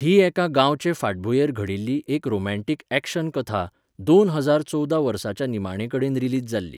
ही एका गांवाचे फाटभूंयेर घडिल्ली एक रोमान्टिक ऍक्शन कथा, दोन हजार चोवदा वर्साच्या निमाणे कडेन रिलीज जाल्ली.